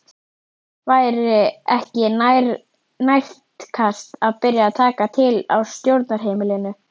Væri ekki nærtækast að byrja að taka til á stjórnarheimilinu?